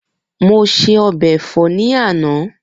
Mo ṣe ọbẹ̀ ẹ̀fọ́ ní àná